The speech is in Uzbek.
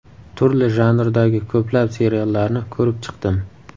Turli janrdagi ko‘plab seriallarni ko‘rib chiqdim.